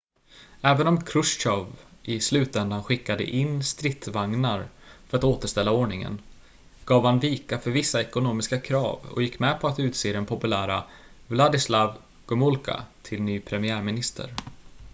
även om chrustjov i slutändan skickade in stridsvagnar för att återställa ordningen gav han vika för vissa ekonomiska krav och gick med på att utse den populära wladyslaw gomulka till ny premiärminister